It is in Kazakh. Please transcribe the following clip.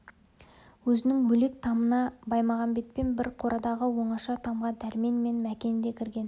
өзінің бөлек тамына баймағамбетпен бір қорадағы оңаша тамға дәрмен мен мәкен де кірген